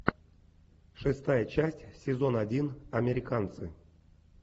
шестая часть сезон один американцы